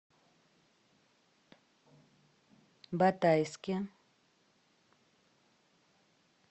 батайске